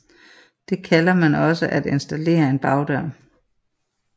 Det kalder man også at installere en bagdør